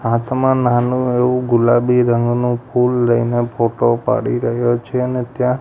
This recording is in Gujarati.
હાથ માં નાનું એવું ગુલાબી રંગનું ફૂલ લઈને ફોટો પાડી રહ્યો છે ને ત્યાં--